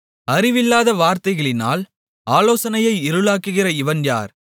அறிவில்லாத வார்த்தைகளினால் ஆலோசனையை இருளாக்குகிற இவன் யார்